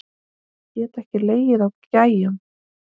Get ekki legið á gægjum.